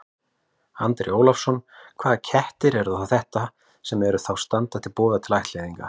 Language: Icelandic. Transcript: Andri Ólafsson: Hvaða kettir eru þetta sem að eru, þá standa til boða til ættleiðingar?